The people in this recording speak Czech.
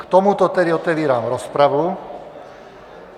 K tomuto tedy otevírám rozpravu.